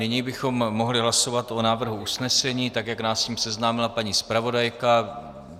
Nyní bychom mohli hlasovat o návrhu usnesení, tak jak nás s ním seznámila paní zpravodajka.